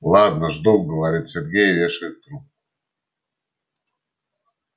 ладно жду говорит сергей и вешает трубку